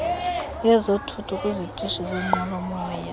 yezothutho kwizitishi zenqwelomoya